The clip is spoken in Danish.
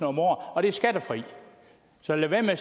om året og det er skattefrit så lad være med at